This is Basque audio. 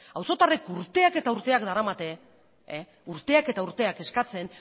auzotarrek urteak eta urteak daramate urteak eta urteak eskatzen